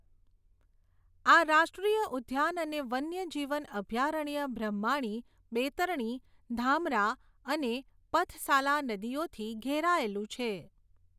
આ રાષ્ટ્રીય ઉદ્યાન અને વન્યજીવન અભયારણ્ય બ્રહ્માણી, બૈતરણી, ધામરા અને પથસાલા નદીઓથી ઘેરાયેલું છે.